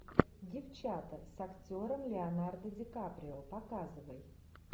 девчата с актером леонардо ди каприо показывай